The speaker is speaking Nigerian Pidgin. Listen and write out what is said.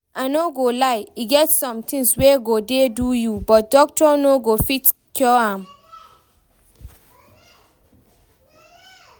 I no go lie, e get some things wey go dey do you but doctor no go fit cure am